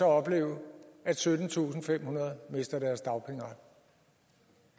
opleve at syttentusinde og femhundrede mister deres dagpengeret